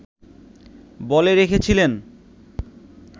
বলে রেখেছিলেন